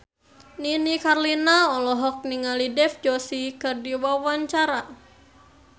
Nini Carlina olohok ningali Dev Joshi keur diwawancara